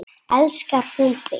Elskar hún þig?